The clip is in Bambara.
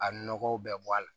A nɔgɔw bɛɛ bɔ a la